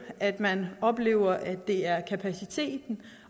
at man oplever at det er kapaciteten